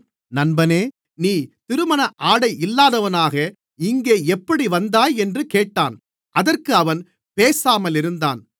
நண்பனே நீ திருமணஆடை இல்லாதவனாக இங்கே எப்படி வந்தாய் என்று கேட்டான் அதற்கு அவன் பேசாமலிருந்தான்